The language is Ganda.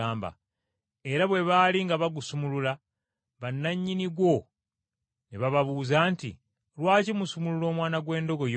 Era bwe baali nga bagusumulula bannannyini gwo ne bababuuza nti, “Lwaki musumulula omwana gw’endogoyi ogwo?”